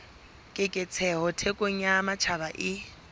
keketseho thekong ya matjhaba e